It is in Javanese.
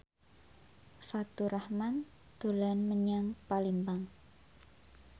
Faturrahman dolan menyang Palembang